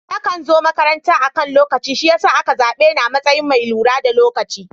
Nakan zo makaranta akan lokaci shi yasa a ka zaɓe ni a matsayin mai lura da lokaci.